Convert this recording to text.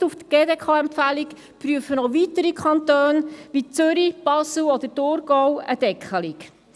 Gestützt auf die Empfehlung der GDK prüfen weitere Kantone wie Zürich, Basel oder Thurgau eine Deckelung.